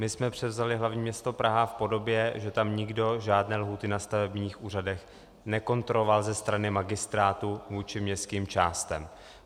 My jsme převzali hlavní město Praha v podobě, že tam nikdo žádné lhůty na stavebních úřadech nekontroloval ze strany magistrátu vůči městským částem.